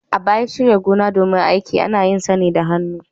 A baya, shirya gona domin aiki ana yin shi da hannu.